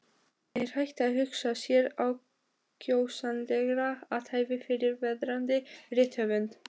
Er hægt að hugsa sér ákjósanlegra athæfi fyrir verðandi rithöfund?